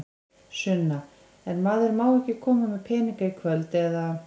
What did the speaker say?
Sunna: En maður má ekki koma með peninga í kvöld, eða?